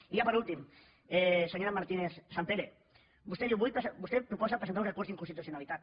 i ja per últim senyora martínez sampere vostè proposa presentar un recurs d’inconstitucionalitat